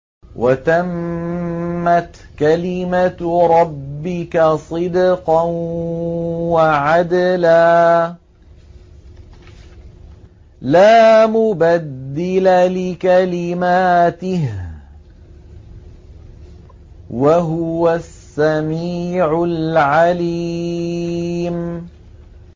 وَتَمَّتْ كَلِمَتُ رَبِّكَ صِدْقًا وَعَدْلًا ۚ لَّا مُبَدِّلَ لِكَلِمَاتِهِ ۚ وَهُوَ السَّمِيعُ الْعَلِيمُ